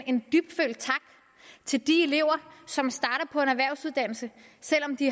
en dybtfølt tak til de elever som starter på en erhvervsuddannelse selv om de